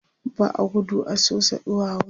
ba a gudu a Sosa ɗuwawu